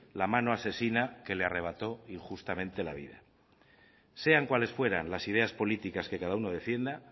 la mano asesina que le arrebató injustamente la vida sean cuales fueras las ideas políticas que cada uno defienda